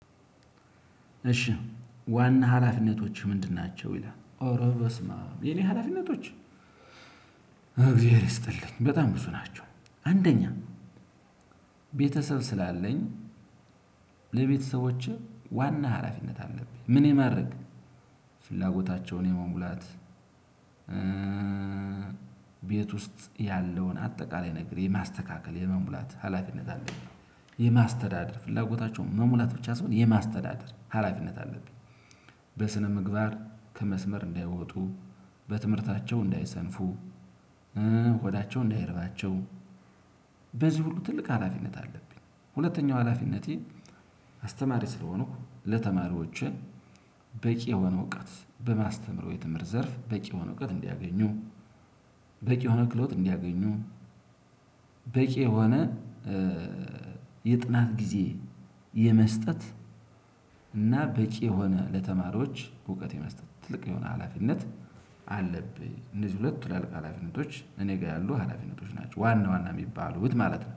እሺ ዋና ሀላፊነቶችህ ምንድን ናቸው? ይላል ኦሮሮ በስማም የኔ ሀላፊነቶች እግዜር ይስጥልኝ በጣም ብዙ ናቸው። አንደኛ ቤተሰብ ስላለኝ ለቤተሰቦችህ ዋና ሀላፊነት አለብኝ ምን የማድረግ ፍላጎታቸውን የመሙላት። ቤት ውስጥ ያለውን አጠቃላይ ነገር የማስተካከል የመሙላት ሀላፊነት አለብኝ። የማስተዳደር ፍላጎታቸውን መሙላት ብቻ ሳይሆን የማስተዳደር ሀላፊነት አለብኝ። በስነምግባር ከመስመር እንዳይወጡ በትምህርታቸው እንዳይሰንፉ ሆዳቸው እንዳይርባቸው በዚህ ሁሉ ትልቅ ሀላፊነት አለብኝ። ሁለተኛው ሀላፊነቴ አስተማሪ ስለሆኑ ለተማሪዎችን በቂ የሆነ እውቀት በማስተምረው የትምህርት ዘርፍ በቂ የሆነ እውቀት እንዲያገኙ። በቂ የሆነ ክሎት እንዲያገኙ። በቂ የሆነ የጥናት ጊዜ የመስጠት እና በቂ የሆነ ለተማሪዎች እውቀት የመስጠት ትልቅ የሆነ ሀላፊነት አለብኝ። እነዚህ ሁለት ትላልቅ ሀላፊነቶች እኔ ጋር ያሉ ሀላፊነቶች ናቸው ዋና ዋና እሚባሉት ማለት ነው